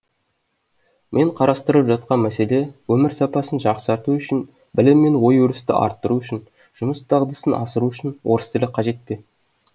мен қарастырып жатқан мәселе өмір сапасын жақсарту үшін білім мен ой өрісті арттыру үшін жұмыс дағдысын асыру үшін орыс тілі қажет пе